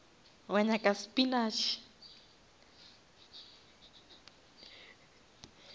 wa nyaka spinash